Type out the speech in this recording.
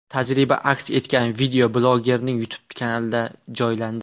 Tajriba aks etgan video blogerning YouTube’dagi kanaliga joylandi .